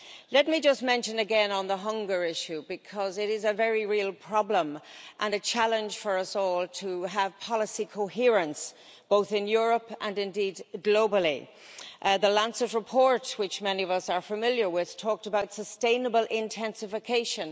Let me just mention again on the hunger issue, because it is a very real problem and a challenge for us all to have policy coherence both in Europe and, indeed, globally the Lancet report, which many of us are familiar with, talked about sustainable intensification.